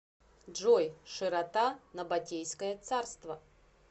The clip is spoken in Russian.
джой широта набатейское царство